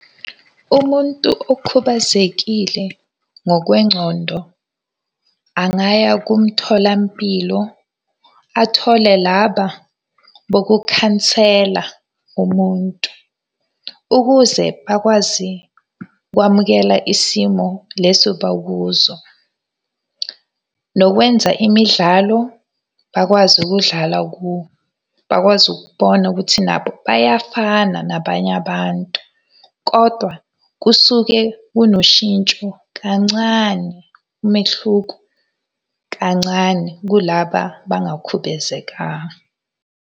Umuntu okhubazekile ngokwencondo angaya kumtholampilo athole laba bokukhansela umuntu. Ukuze bakwazi ukwamukela isimo leso bakuso. Nokwenza imidlalo, bakwazi ukudlala bakwazi ukubona ukuthi nabo bayafana nabanye abantu, kodwa kusuke kunoshintsho kancane, umehluko kancane kulaba abangakhubazekanga.